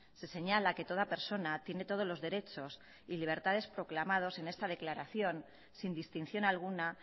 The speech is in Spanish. se señala que toda persona tiene todos los derechos y libertades proclamados en esta declaración sin distinción alguna